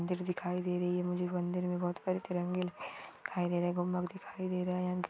मंदिर दिखाय दे रही है मन्दिर में बहुत सारे तिरंगे दिखाय दे रहे है गुम्बज दिखाय दे रहा है।